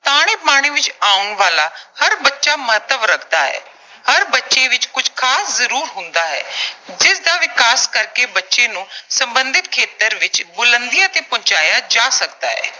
ਤਾਣੇ-ਬਾਣੇ ਵਿੱਚ ਆਉਣ ਵਾਲਾ ਹਰ ਬੱਚਾ ਮਹੱਤਵ ਰੱਖਦਾ ਹੈ। ਹਰ ਬੱਚੇ ਵਿੱਚ ਕੁਝ ਖਾਸ ਜ਼ਰੂਰ ਹੁੰਦਾ ਹੈ। ਜਿਸ ਦਾ ਵਿਕਾਸ ਕਰਕੇ ਬੱਚੇ ਨੂੰ ਸਬੰਧਿਤ ਖੇਤਰ ਦੇ ਵਿੱਚ ਬੁਲੰਦੀਆਂ ਤੇ ਪਹੁੰਚਾਇਆ ਜਾ ਸਕਦਾ ਹੈ।